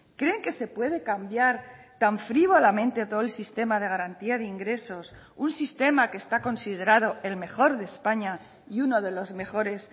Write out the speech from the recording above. creen que se puede cambiar tan frívolamente todo el sistema de garantía de ingresos un sistema que está considerado el mejor de españa y uno de los mejores